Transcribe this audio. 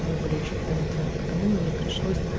они были очень утомительным поэтому мне пришло